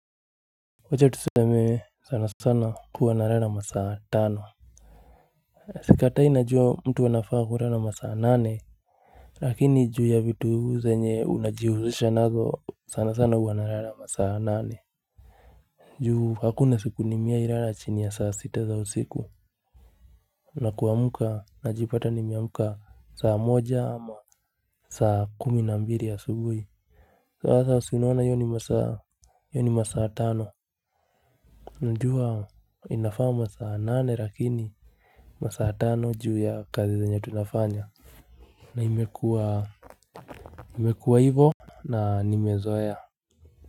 Wacha tuseme sana sana huwa narara masaa tano. Sikatai najua mtu anafaa kurara masaa nane. Lakini juu ya vitu zenye unajihushusha nazo sana sana huwa narara masaa nane ju hakuna siku nimeai lara chini ya saa sita za usiku. Na kuamuka najipata nimeamuka saa moja ama saa kumi na mbiri asubui. Sasa si unaona iyo ni masaa iyo ni masaa tano. Najua inafaa masaa nane lakini masaa tano juu ya kazi zenye tunafanya. Na imekua imekua hivo na nimezoea.